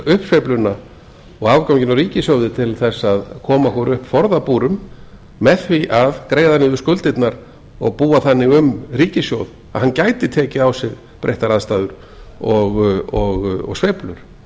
uppsveifluna og afganginn á ríkissjóði til þess að koma okkur upp forðabúri með því að greiða niður skuldirnar og búa þannig um ríkissjóð að hann gæti tekið á sig breyttar aðstæður og sveiflur